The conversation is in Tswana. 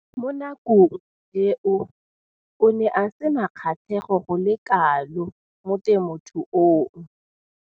Mo nakong eo o ne a sena kgatlhego go le kalo mo temothuong.